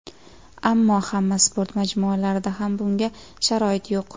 Ammo hamma sport majmualarida ham bunga sharoit yo‘q.